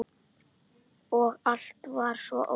Og allt var svo ódýrt!